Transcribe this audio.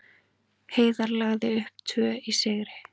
Heiðar lagði upp tvö í sigri